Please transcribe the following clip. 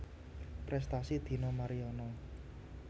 Prestasi Dina Mariana